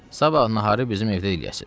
Sabah naharı bizim evdə eləyəsiz.